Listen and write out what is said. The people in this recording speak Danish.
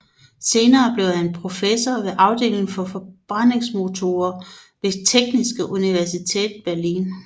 Senere blev han professor ved afdelingen for forbrændingsmotorer ved Technische Universität Berlin